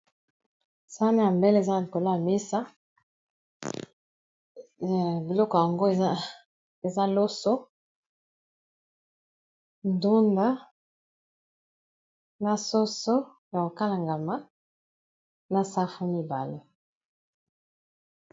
Sani ya mbele eza na likolo ya mesa, biloko yango eza loso, ndunda, na soso ya ko kalingama, na safu mibale .